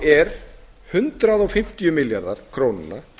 er hundrað fimmtíu milljarðar króna